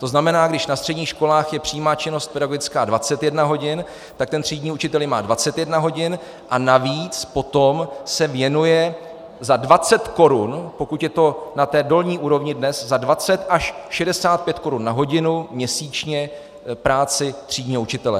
To znamená, když na středních školách je přímá činnost pedagogická 21 hodin, tak ten třídní učitel má 21 hodin a navíc potom se věnuje za 20 korun, pokud je to na té dolní úrovni dnes, za 20 až 65 korun na hodinu měsíčně práci třídního učitele.